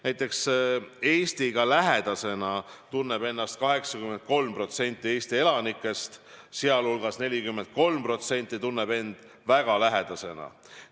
Näiteks, Eestiga lähedasena tunneb ennast 83% Eesti elanikest, sealhulgas 43% tunneb end väga lähedasena.